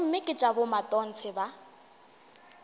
gomme ke tša bomatontshe ba